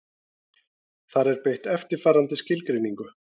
Þar er beitt eftirfarandi skilgreiningu: